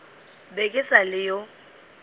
be ke sa le yo